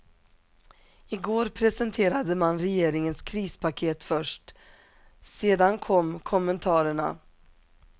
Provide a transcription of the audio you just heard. I går presenterade man regeringens krispaket först, sedan kom kommentarerna.